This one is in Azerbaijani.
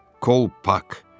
“Kolpak!”